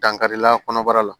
Dankarila kɔnɔbara la